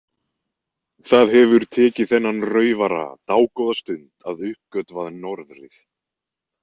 Það hefur tekið þennan raufara dágóða stund að uppgötva norðrið.